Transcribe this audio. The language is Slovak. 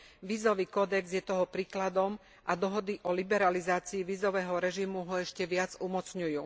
Vízový kódex je toho príkladom a dohody o liberalizácii vízového režimu ho ešte viac umocňujú.